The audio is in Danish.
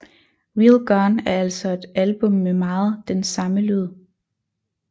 Real Gone er altså et album med meget den samme lyd